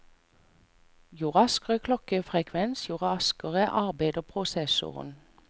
Jo raskere klokkefrekvens, jo raskere arbeider prosessoren.